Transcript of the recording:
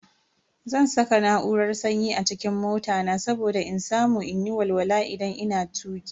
Zan saka na'urar sanyi a cikin mota na saboda in samu in yi walwala idan ina tuki.